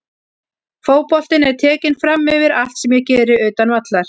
Fótboltinn er tekinn framyfir allt sem ég geri utan vallar.